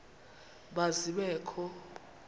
ma zibe kho